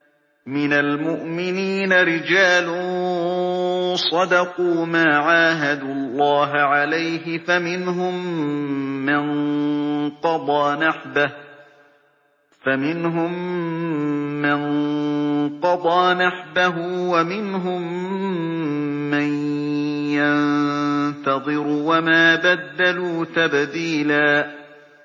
مِّنَ الْمُؤْمِنِينَ رِجَالٌ صَدَقُوا مَا عَاهَدُوا اللَّهَ عَلَيْهِ ۖ فَمِنْهُم مَّن قَضَىٰ نَحْبَهُ وَمِنْهُم مَّن يَنتَظِرُ ۖ وَمَا بَدَّلُوا تَبْدِيلًا